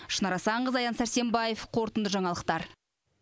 шынар асанқызы аян сәрсенбаев қорытынды жаңалықтар